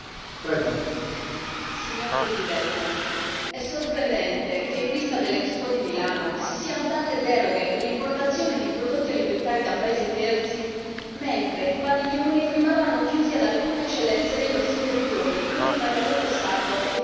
Signor Presidente, onorevoli colleghi, è sorprendente che, in vista dell'Expo di Milano, si siano date deroghe per l'importazione di prodotti alimentari da paesi terzi mentre i padiglioni rimarranno chiusi ad alcune eccellenze dei nostri territori, come il maialetto sardo e tutti i prodotti derivati.